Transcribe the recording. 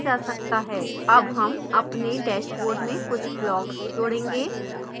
add हम अपने dashboard में कुछ blocks जोडेंगे